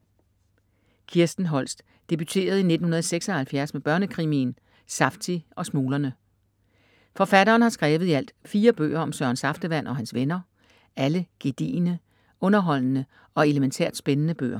Kirsten Holst debuterede i 1976 med børnekrimien Safty og smuglerne. Forfatteren har skrevet i alt 4 bøger om Søren Saftevand og hans venner, alle gedigne, underholdende og elementært spændende bøger.